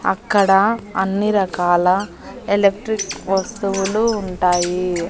అక్కడ అన్ని రకాల ఎలక్ట్రిక్ వస్తువులు ఉంటాయి.